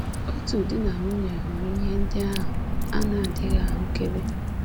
Otu di na nwunye hụrụ ihe ndị ahụ a na-adịghị ahụkebe.